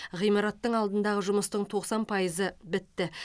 ғимараттың алдындағы жұмыстың тоқсан пайызы бітті